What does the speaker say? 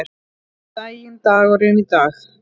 Góðan daginn dagurinn í dag